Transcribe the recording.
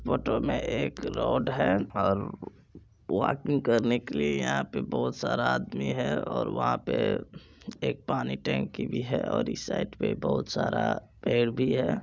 Photo मे एक road है और वॉकिंग करने के लिए यहाँ पे बहुत सारा आदमी है और वहाँ पे एक पानी टंकी भी है और इस साइड पे बहुत सारा पेड़ भी है।